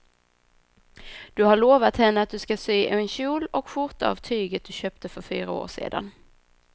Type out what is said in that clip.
Du har lovat henne att du ska sy en kjol och skjorta av tyget du köpte för fyra år sedan.